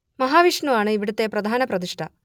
മഹാവിഷ്ണു ആണ് ഇവിടത്തെ പ്രധാന പ്രതിഷ്ഠ